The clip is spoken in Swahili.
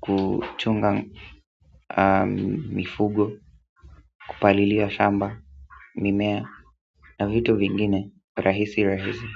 kuchunga mifugo, kupalilia shamba, mimea na vitu vingine rahisi rahisi.